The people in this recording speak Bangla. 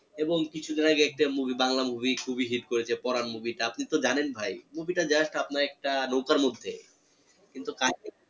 এবং কিছুদিন আগে একটা movie বাংলা movie খুবই hit করেছে পরান movie টা আপনি তো জানেন ভাই movie টা just আপনার একটা নৌকার মধ্যে কিন্তু